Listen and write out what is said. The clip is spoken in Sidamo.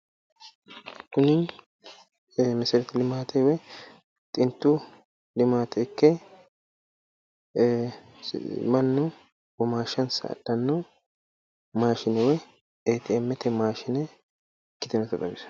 Tini mesereti limaate woy xintu limaate ikke mannu womaashshansa adhanno maashine woy ATM maashine ikkiteewota xawisanno.